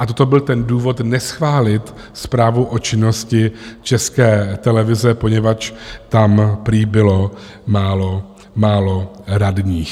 A toto byl ten důvod neschválit zprávu o činnosti České televize, poněvadž tam prý bylo málo radních.